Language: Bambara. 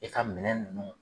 I ka minɛn nunnu